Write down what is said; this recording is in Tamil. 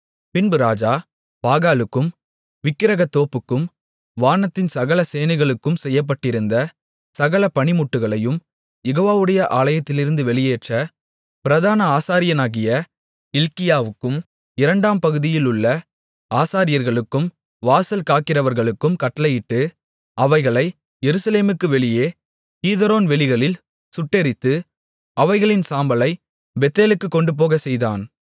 பின்பு ராஜா பாகாலுக்கும் விக்கிரகத்தோப்புக்கும் வானத்தின் சகல சேனைகளுக்கும் செய்யப்பட்டிருந்த சகல பணிமுட்டுகளையும் யெகோவாவுடைய ஆலயத்திலிருந்து வெளியேற்ற பிரதான ஆசாரியனாகிய இல்க்கியாவுக்கும் இரண்டாம் பகுதியிலுள்ள ஆசாரியர்களுக்கும் வாசல் காக்கிறவர்களுக்கும் கட்டளையிட்டு அவைகளை எருசலேமுக்கு வெளியே கீதரோன் வெளிகளில் சுட்டெரித்து அவைகளின் சாம்பலைப் பெத்தேலுக்குக் கொண்டுபோகச்செய்தான்